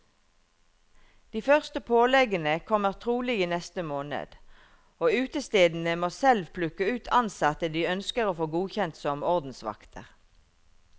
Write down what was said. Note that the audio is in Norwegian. De første påleggene kommer trolig i neste måned, og utestedene må selv plukke ut ansatte de ønsker å få godkjent som ordensvakter.